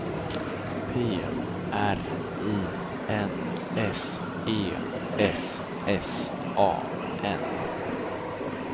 P R I N S E S S A N